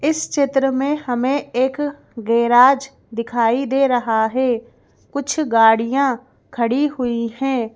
इस चित्र में हमें एक गैराज दिखाई दे रहा है कुछ गाड़ियां खड़ी हुई हैं।